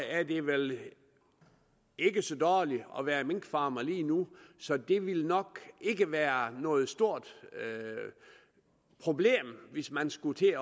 er det vel ikke så dårligt at være minkfarmer lige nu så det ville nok ikke være noget stort problem hvis man skulle til